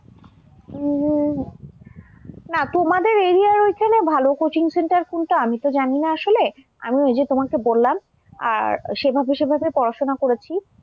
উম না তোমাদের area ঐখানে ভাল coaching centre কোনটা আমি তো জানিনা আসলে, আমি ঐ যে তোমাকে বললাম আর সেভাবে সেভাবে পড়াশোনা করেছি।